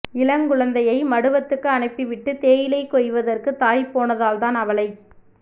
இளங்குழந்தையை மடுவத்துக்கு அனுப்பிவிட்டு தேயிலை கொய்வதற்குத் தாய் போனால்தான் அவளைச்